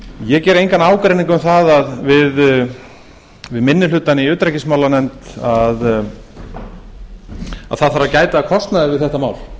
ég geri engan ágreining um það við minni hlutann í utanríkismálanefnd að það þarf að gæta að kostnaði við þetta mál